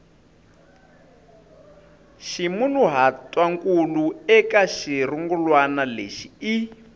ximunhuhatwankulu eka xirungulwana lexi i